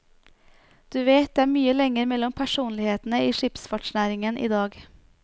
Du vet, det er mye lenger mellom personlighetene i skipsfartsnæringen i dag.